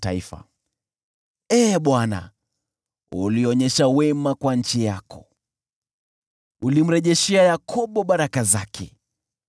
Ee Bwana , ulionyesha wema kwa nchi yako. Ulimrejeshea Yakobo baraka zake.